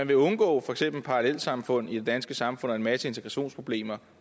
vil undgå for eksempel parallelsamfund i det danske samfund og en masse integrationsproblemer og